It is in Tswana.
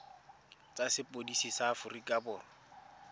tsa sepodisi sa aforika borwa